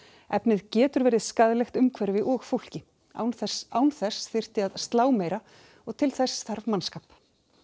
efnið getur verið skaðlegt umhverfi og fólki án þess án þess þyrfti að slá meira og til þess þarf mannskap